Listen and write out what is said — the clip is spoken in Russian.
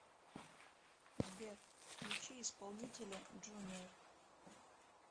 сбер включи исполнителя джуниор